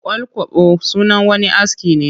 Ƙwal-kwabo sunan wani aski ne